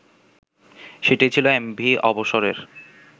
সেটিই ছিল এমভি অবসরের